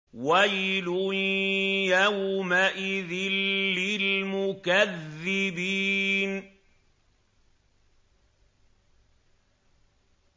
وَيْلٌ يَوْمَئِذٍ لِّلْمُكَذِّبِينَ